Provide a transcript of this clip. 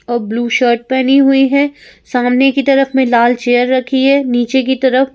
और blue shirt पहनी हुई है सामने की तरफ में लाल चेयर रखी है नीचे की तरफ --